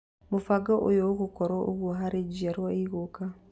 Mũbango ũyũ ũgũkorwo ũgũo harĩ njiarwo igũka.